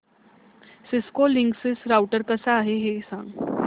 Cisco Linksys router कसा आहे ते सांग